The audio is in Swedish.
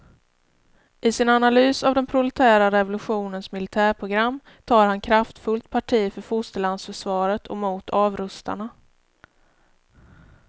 I sin analys av den proletära revolutionens militärprogram tar han kraftfullt parti för fosterlandsförsvaret och mot avrustarna.